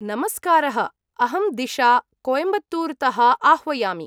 नमस्कारः! अहं दिशा, कोयम्बत्तूरतः आह्वयामि।